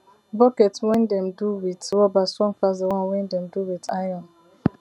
bucket wen dem do wit rubber strong pass de one wen dem do wit iron